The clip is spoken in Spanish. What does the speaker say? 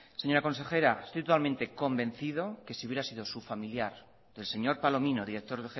señora consejera estoy totalmente convencido que si hubiera sido su familiar o del señor palomino director